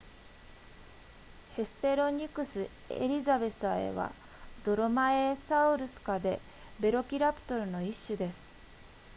ヘスペロニクスエリザベサエはドロマエサウルス科でヴェロキラプトルの一種です